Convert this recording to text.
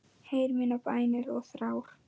Heyr mínar bænir og þrár.